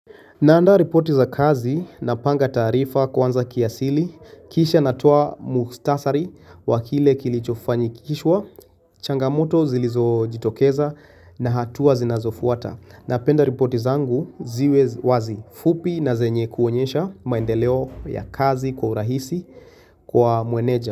Naanda ripoti za kazi napanga taarifa kwanza kiasili. Kisha natoa muhtasari wa kile kilichofanikishwa changamoto zilizojitokeza na hatua zinazofuata. Napenda ripoti zangu ziwe wazi, fupi na zenye kuonyesha maendeleo ya kazi kwa urahisi kwa meneja.